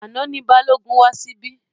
Àná ni Balógun wá síbí.